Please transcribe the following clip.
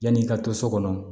Yanni i ka to so kɔnɔ